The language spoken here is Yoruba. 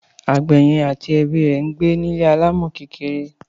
Àgbè yẹn àti ẹbí rè ńgbé ni ilé alámò kékeré